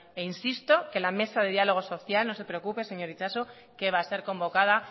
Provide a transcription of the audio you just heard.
e insisto que la mesa de diálogo social no se preocupe señor itxaso que va a ser convocada